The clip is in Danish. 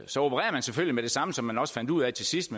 så opererer man selvfølgelig med det samme som man også fandt ud af til sidst